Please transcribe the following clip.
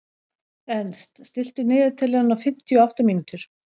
Ernst, stilltu niðurteljara á fimmtíu og átta mínútur.